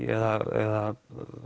eða